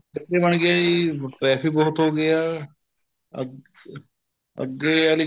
ਫੈਕਟਰੀਆਂ ਬਣ ਗਈਆਂ ਜੀ traffic ਬਹੁਤ ਹੋ ਗਿਆ ਅਹ ਅੱਗੇ ਆਲੀ